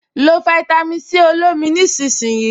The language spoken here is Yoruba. Lo fáítámì Sí olómi nísinsìnyí